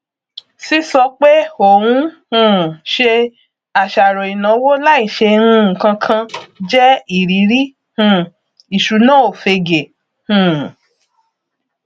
sísọ pé ò ń um ṣe àṣàròìnáwó láì ṣe nǹkankan jẹ ìrírí um ìṣúnáòfegè um